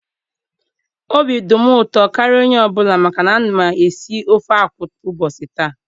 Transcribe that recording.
Obi dị m ụtọ karịa onye obula maka na a na m esi ofe akwụ ụbọchị ta